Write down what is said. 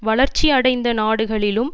வளர்ச்சி அடைந்த நாடுகளிலும்